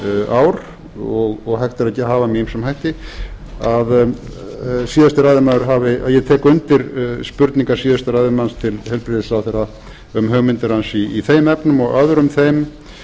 ár og hægt er að hafa með ýmsum hætti ég tek undir spurningar síðasta ræðumanns til heilbrigðisráðherra um hugmyndir hans í þeim efnum og öðrum þeim